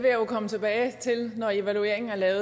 evaluering